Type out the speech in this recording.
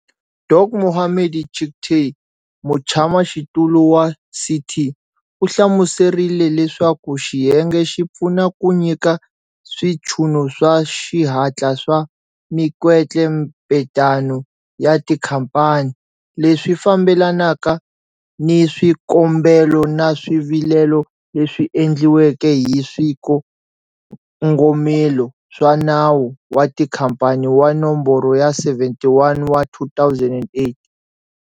Dok Mohammed Chicktay, Mutshamaxitulu wa CT, u hlmuserile leswaku xiyenge xi pfuna ku nyika switshunxo swa xihatla swa mikwetlembetano ya tikhamphani, leswi fambelanaka ni swikombelo na swivilelo leswi endliweke hi swikongomelo swa Nawu wa Tikhamphani wa Nomboro ya 71 wa 2008.